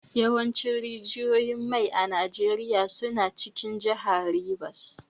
Yawancin rijiyoyin mai a Najeriya suna cikin jihar Rivers.